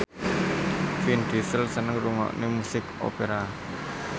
Vin Diesel seneng ngrungokne musik opera